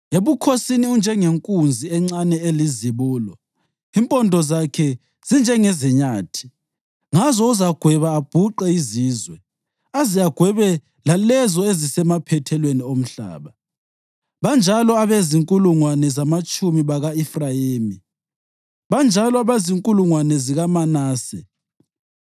Ebukhosini unjengenkunzi encane elizibulo; impondo zakhe zinjengezenyathi. Ngazo uzagweba abhuqe izizwe, aze agwebe lalezo ezisemaphethelweni omhlaba. Banjalo abezinkulungwane zamatshumi baka-Efrayimi; banjalo abezinkulungwane zikaManase.”